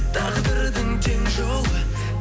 тағдырдың тең жолы